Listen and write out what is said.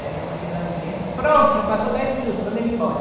Aí a minha mãe dele lá de dentro, pronto, já passou dez minutos, manda ele embora.